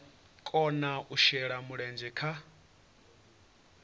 kona u shela mulenzhe kha